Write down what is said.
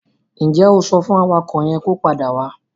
Ǹ jẹ́ o sọ fún awakọ̀ yẹn kó padà wá?